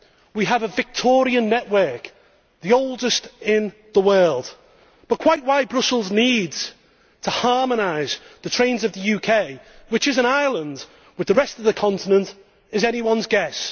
We have a Victorian network, the oldest in the world, but quite why Brussels needs to harmonise the trains of the UK, which is an island, with the rest of the continent, is anyone's guess.